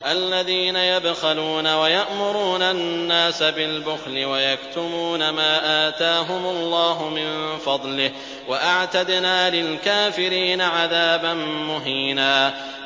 الَّذِينَ يَبْخَلُونَ وَيَأْمُرُونَ النَّاسَ بِالْبُخْلِ وَيَكْتُمُونَ مَا آتَاهُمُ اللَّهُ مِن فَضْلِهِ ۗ وَأَعْتَدْنَا لِلْكَافِرِينَ عَذَابًا مُّهِينًا